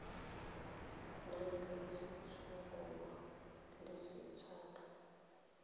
nang le letshoroma le lesetlha